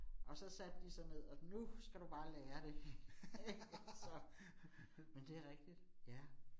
Og så satte de sig ned, og nu skal du bare lære det ik altså, men det rigtigt, ja